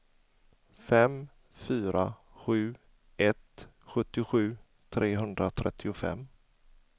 fem fyra sju ett sjuttiosju trehundratrettiofem